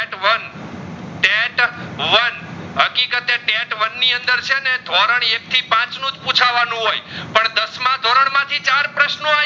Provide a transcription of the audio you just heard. set one ની અંદર છે ને ધોરણ એક થી પાચનુજ પૂછવાનું હોય પણ દસમા ધોરણ માં થી ચાર પ્રશ્નો આય